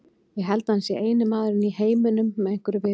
Ég held að hann sé eini maðurinn í heiminum með einhverju viti.